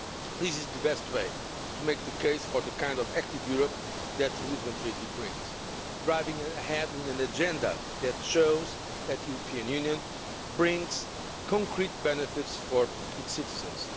This is the best way to make the case for the kind of active Europe that the Lisbon Treaty brings driving ahead with an agenda that shows that the European Union brings concrete benefits for its citizens.